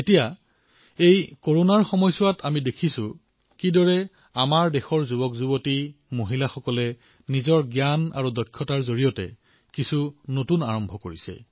এতিয়া আমি কৰোনাৰ সময়তো দেখিবলৈ পাইছো যে কিদৰে আমাৰ দেশৰ যুৱচামেমহিলাসকলে নিজৰ প্ৰতিভা আৰু দক্ষতাৰ জোৰত নতুন প্ৰয়োগ আৰম্ভ কৰিছে